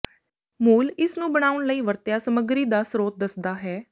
ਮੂਲ ਇਸ ਨੂੰ ਬਣਾਉਣ ਲਈ ਵਰਤਿਆ ਸਮੱਗਰੀ ਦਾ ਸਰੋਤ ਦੱਸਦਾ ਹੈ